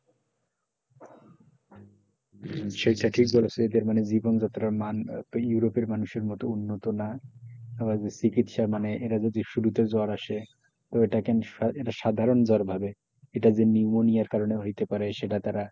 সেটা ঠিক বলেছেন এদের জীবনযাত্রার মান ইউরোপের মানুষের মতো উন্নত না তারা চিকিৎসা মানে এরা যদি শুরুতে জ্বর আসে ওটাকে সাধারণ জ্বর ভাবে এটা যে নিউমোনিয়ার কারণে হইতে পারে সেটা তারা,